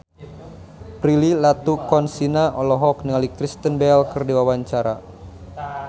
Prilly Latuconsina olohok ningali Kristen Bell keur diwawancara